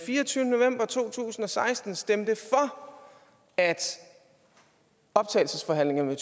fireogtyvende november to tusind og seksten stemte for at optagelsesforhandlingerne